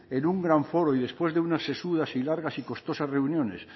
en un gran foro y después de unas sesudas y largas y costosas reuniones